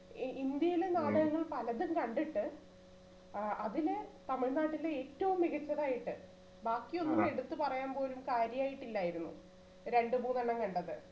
ഇന്ത്യയിലെ നാടകങ്ങൾ പലതും കണ്ടിട്ട് ഏർ അതില് തമിഴ്നാട്ടിൽ ഏറ്റവും മികച്ചതായിട്ട് ബാക്കിയൊന്നും എടുത്തു പറയാൻ പോലും കാര്യായിട്ട് ഇല്ലായിരുന്നു രണ്ടുമൂന്നെണ്ണം കണ്ടത്